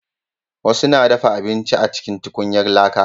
wasu na dafa abinci a cikin tukunyan laƙa